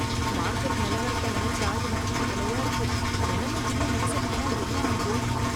Market நிலவரத்தை நினைச்சா எனக்கு கவலையா இருக்கு. நிலமை இன்னும் மோசமானா என்ன ஆகும்?